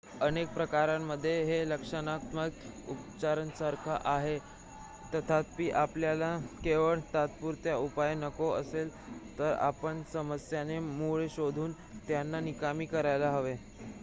अनेक प्रकरणांमध्ये हे लक्षणात्मक उपचारांसारखेच आहे तथापि आपल्याला केवळ तात्पुरता उपाय नको असेल तर आपण समस्यांचे मूळ शोधून त्यांना निकामी करायला हवे